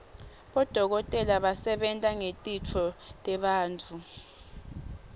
bodokotela basebenta ngetitfo tebantfu